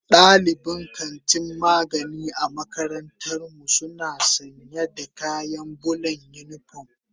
Dalibin kantin magani a makarantar mu suna sanya da kayan bulan unipom.